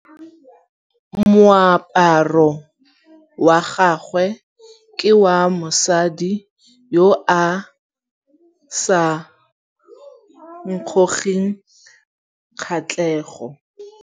Moaparô wa gagwe ke wa mosadi yo o sa ngôkeng kgatlhegô.